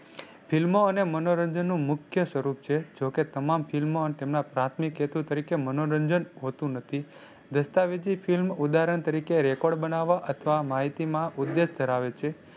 ફિલ્મો અને મનોરંજન નું મુખ્ય સ્વરૂપ છે. જો કે તમામ ફિલ્મો અને તેમના પ્રાથમિક હેતુ તરીકે મનોરંજન હોતું નથી. દસ્તાવેજી Film ઉદાહરણ તરીકે record બનાવા અથવા માહિતી માં ઉદેશ ધરાવે છે.